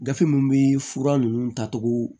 Gafe mun be fura ninnu tacogo